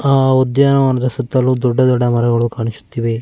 ಆಹ್ ಉದ್ಯಾನವನದ ಸುತ್ತ ಮುತ್ತಲು ದೊಡ್ಡ ದೊಡ್ಡ ಮರಗಳು ಕಾಣಿಸುತ್ತಿವೆ.